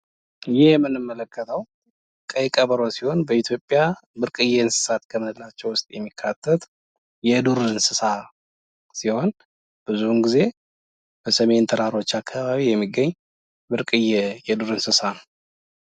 ይህ የምንመለከተዉ ቀይ ቀበሮ ሲሆን በኢትዮጵያ ብርቅየ እንስሳት ውስጥ የሚካተት የዱር እንስሳት ሲሆን ብዙውን ጊዜ በሰሜን ተራሮች ብሄራዊ ፓርክ የሚገኝ እንስሳት ነው ።